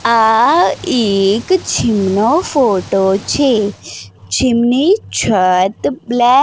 આ એક જીમ નો ફોટો છે જીમની છત બ્લે --